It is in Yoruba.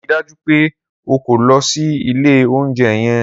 Rii daju pe o ko lọ si ile ounjẹ yẹn!